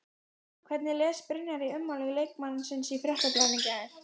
Hún veit ekki af hverju hún brýtur það heit.